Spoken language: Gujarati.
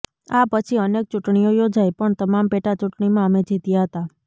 આ પછી અનેક ચૂંટણીઓ યોજાઈ પણ તમામ પેટા ચૂંટણીમાં અમે જીત્યા હતા